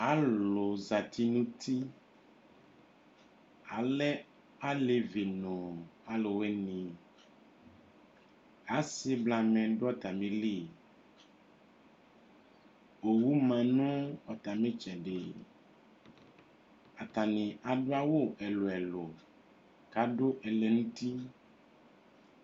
Alʋ zati nʋ uti Alɛ alevi nʋ alʋwɩnɩ Asɩ blamɛ dʋ atamɩli Owu ma nʋ atamɩ ɩtsɛdɩ Atanɩ adʋ awʋ ɛlʋ-ɛlʋ kʋ adʋ ɛlɛnʋti